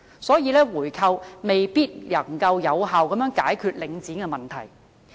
所以，回購未必能夠有效解決領展的問題。